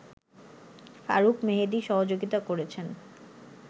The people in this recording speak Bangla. ফারুক মেহেদী সহযোগিতা করেছেন